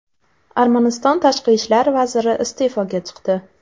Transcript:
Armaniston tashqi ishlar vaziri iste’foga chiqdi.